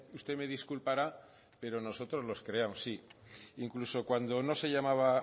usted me disculpara pero nosotros los creamos sí incluso cuando no se llamaba